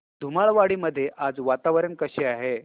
धुमाळवाडी मध्ये आज वातावरण कसे आहे